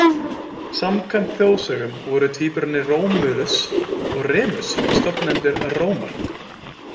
Samkvæmt þjóðsögum voru tvíburarnir Rómúlus og Remus stofnendur Rómar.